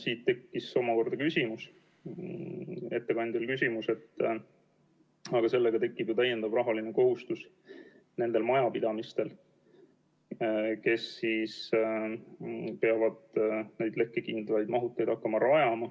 Siis tekkis ettekandjal küsimus, et sellega tekib ju täiendav rahaline kohustus nendel majapidamistel, kes peavad hakkama neid lekkekindlaid mahuteid rajama.